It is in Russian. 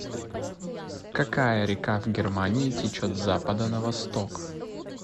какая река в германии течет с запада на восток